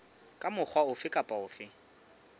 ka mokgwa ofe kapa ofe